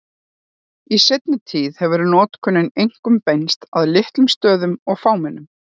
Í seinni tíð hefur notkunin einkum beinst að litlum stöðum og fámennum.